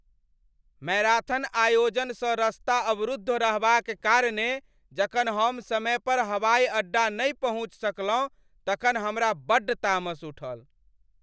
Marathon आयोजनसँ रस्ता अवरुद्ध रहबाक कारणेँ जखन हम समय पर हवाई अड्डा नहि पहुँच सकलहुँ तखन हमरा बड्ड तामस उठल।